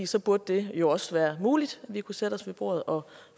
så burde det jo også være muligt at vi kunne sætte os ved bordet og